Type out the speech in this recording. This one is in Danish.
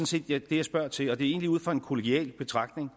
set det jeg spørger til er egentlig ud fra en kollegial betragtning